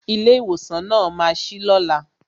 Ilé ìwòsàn náà ma sí lóla